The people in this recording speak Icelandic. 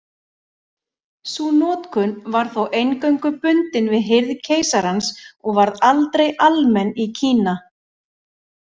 Sú notkun var þó eingöngu bundin við hirð keisarans og varð aldrei almenn í Kína.